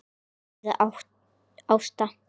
spurði Ásta.